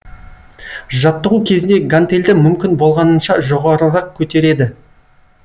жаттығу кезінде гантельді мүмкін болғанынша жоғарырақ көтереді